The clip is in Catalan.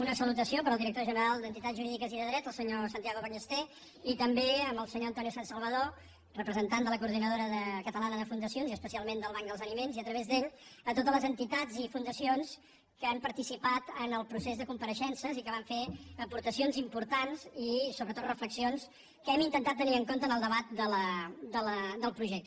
una salutació per al direc·tor general de dret i d’entitats jurídiques el senyor san·tiago ballester i també per al senyor antoni sansalvadó representant de la coordinadora catalana de funda·cions i especialment del banc dels aliments i a través d’ell per a totes les entitats i fundacions que han partici·pat en el procés de compareixences i que van fer aporta·cions importants i sobretot reflexions que hem intentat tenir en compte en el debat del projecte